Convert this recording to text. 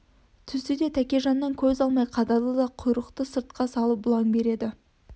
түсті де тәкежаннан көз алмай қадалды да құйрықты сыртқа салып бұлаң береді